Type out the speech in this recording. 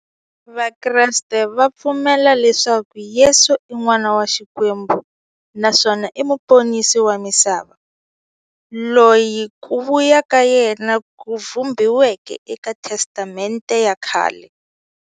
Vakreste va pfumela leswaku Yesu i n'wana wa Xikwembu naswona i muponisi wa misava, loyi ku vuya ka yena ku vhumbiweke eka Testamente ya khale.